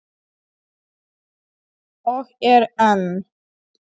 Og er enn.